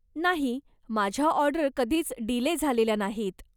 नाही, माझ्या ऑर्डर कधीच डीले झालेल्या नाहीत.